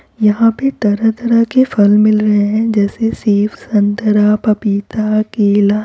यहाँ पे तरह-तरह के फल मिल रहे हैं जैसे सेब संतरा पपीता केला।